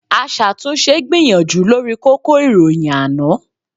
Aṣàtúnṣe gbìyànjú lórí kókó ìròyìn àná